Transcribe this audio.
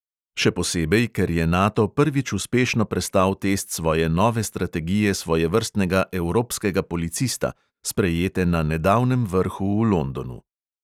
Še posebej, ker je nato prvič uspešno prestal test svoje nove strategije svojevrstnega evropskega policista, sprejete na nedavnem vrhu v londonu.